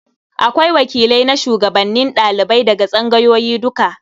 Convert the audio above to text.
Akwai wakilai na shugabannin ɗalibai daga tsangayoyi duka.